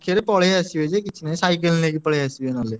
ପାଖରେ ପଳେଇ ଆସିବେ ଯେ କିଛି ନାହିଁ cycle ନେଇକି ପଳେଇଆସିବେ ନହେଲେ।